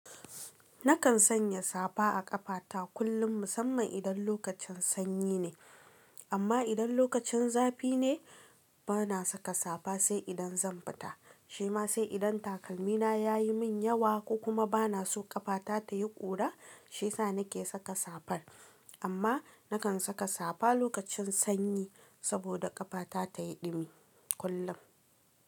Nakan sanya safa a ƙafata kullum musamman idan lokacin sanyi ne. Amma idan lokacin zafi ne bana saka safa sai idan zan fita. Shi ma sai idan takalmina yayi min yawa ko kuma bana so ƙafata tayi ƙura shiyasa nake saka safar. Amma nakan saka safa lokacin sanyi saboda ƙafata ta yi ɗumi kullum.